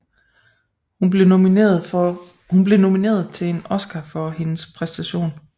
Hun blev nomineret til en Oscar for hendes præstation